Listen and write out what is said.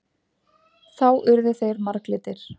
Þá urðu þeir marglitir.